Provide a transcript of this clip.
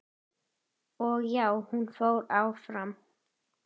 Og já, hún fór áfram!!